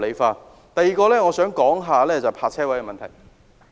此外，我想說說泊車位的問題。